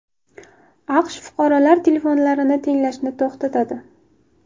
AQSh fuqarolar telefonlarini tinglashni to‘xtatadi.